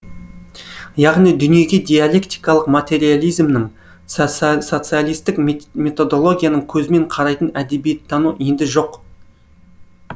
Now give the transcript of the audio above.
яғни дүниеге диалектикалық материализмнің социалистік методологияның көзімен қарайтын әдебиеттану енді жоқ